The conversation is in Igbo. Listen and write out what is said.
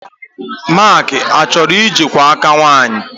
Mark achoro ije kuo aka nwannyi?